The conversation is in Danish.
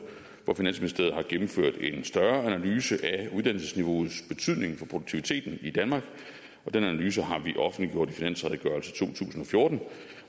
hvor finansministeriet har gennemført en større analyse af uddannelsesniveauets betydning for produktiviteten i danmark og den analyse har vi offentliggjort i finansredegørelse to tusind og fjorten